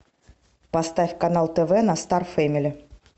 поставь канал тв на стар фэмили